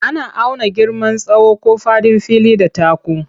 Ana auna girman tsawo ko faɗin fili da taku.